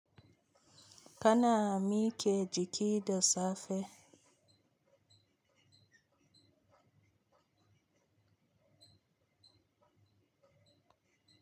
Kana mike jiki da safe.